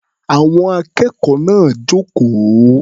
Àwọn akẹ́kọ̀ọ́ náà jókòó.